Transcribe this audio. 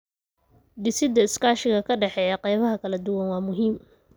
Dhisidda iskaashiga ka dhexeeya qaybaha kala duwan waa muhiim.